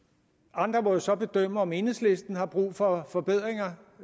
andre må jo så bedømme om enhedslisten har brug for forbedringer